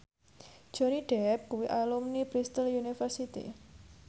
Johnny Depp kuwi alumni Bristol university